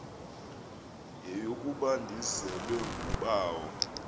yeyokuba ndizelwe ngubawo